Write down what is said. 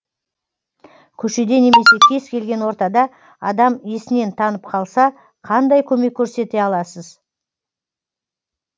көшеде немесе кез келген ортада адам есінен танып қалса қандай көмек көрсете аласыз